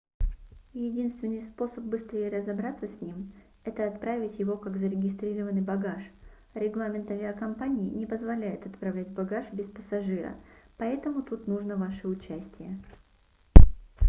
единственный способ быстрее разобраться с ним это отправить его как зарегистрированный багаж регламент авиакомпании не позволяет отправлять багаж без пассажира поэтому тут нужно ваше участие